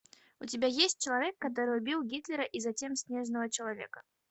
у тебя есть человек который убил гитлера и затем снежного человека